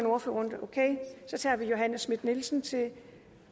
ordførerrunde så tager vi johanne schmidt nielsen